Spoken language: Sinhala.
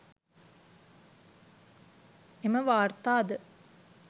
එම වාර්තාද